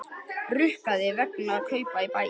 Rukkaðir vegna kaupa í Baugi